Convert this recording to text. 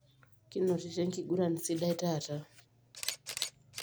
Kinotito enkiguran sidai taata.